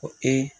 Ko